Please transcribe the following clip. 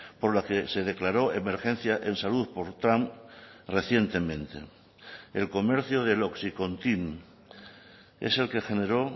por la que se declaró emergencia en salud por trump recientemente el comercio del oxycontin es el que generó